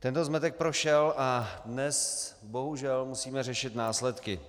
Tento zmetek prošel a dnes bohužel musíme řešit následky.